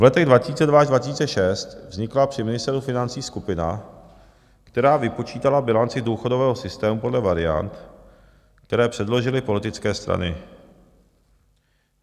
V letech 2002 až 2006 vznikla při Ministerstvu financí skupina, která vypočítala bilanci důchodového systému podle variant, které předložily politické strany.